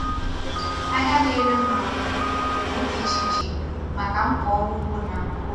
Ahịa na-ere mma nwere okpukpu dị iche iche maka mkpa ọrụ ugbo na ụlọ.